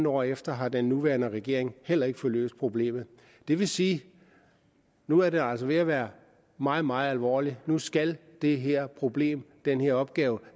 år efter har den nuværende regering heller ikke fået løst problemet det vil sige at nu er det altså ved at være meget meget alvorligt nu skal det her problem den her opgave